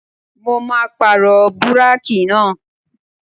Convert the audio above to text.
Mo máa pàrọ̀ búrákì náà.